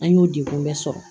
An y'o degun bɛɛ sɔrɔ